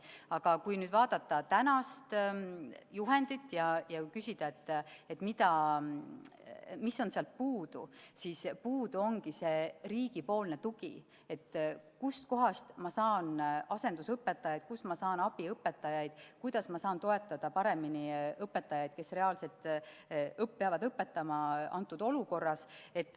Aga kui vaadata tänast juhendit ja küsida, mis on sealt puudu, siis puudu ongi riigi tugi: kust ma saan asendusõpetajaid, kust ma saan abiõpetajaid, kuidas ma saan toetada paremini õpetajaid, kes reaalselt peavad õpetama antud olukorras.